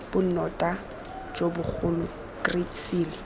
bonota jo bogolo great seal